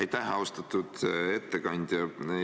Aitäh, austatud ettekandja!